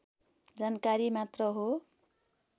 जानकारी मात्र हो